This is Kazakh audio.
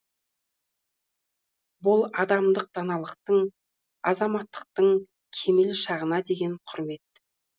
бұл адамдық даналықтың азаматтықтың кемел шағына деген құрмет